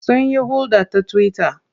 Sunyi hulɗa ta twitter.